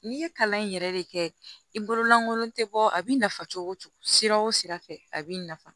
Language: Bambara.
N'i ye kalan in yɛrɛ de kɛ i bolo lankolon tɛ bɔ a bɛ nafa cogo cogo sira o sira fɛ a bɛ nafa